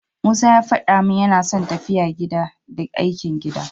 Musa ya faɗa min yana son tafiya gida, da aikin gida.